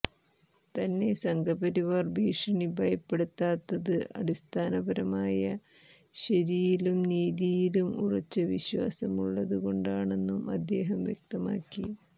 തന്നെ സംഘപരിവാർ ഭീഷണി ഭയപ്പെടുത്താത്തത് അടിസ്ഥാനപരമായ ശരിയിലും നീതിയിലും ഉറച്ച വിശ്വാസമുള്ളതുകൊണ്ടാണെന്നും അദ്ദേഹം വ്യക്തമാക്കി